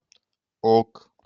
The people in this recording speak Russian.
ок